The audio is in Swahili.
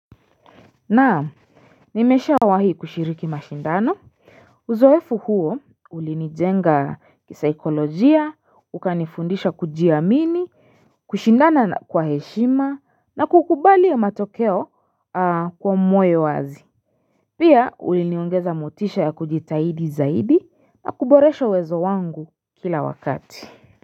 Naam nimeshawahi kushiriki mashindano uzoefu huo ulinijenga kisaikolojia ukanifundisha kujiamini kushindana kwa heshima na kukubali matokeo kwa moyo wazi pia uliniongeza motisha ya kujitahidi zaidi na kuboresho uwezo wangu kila wakati.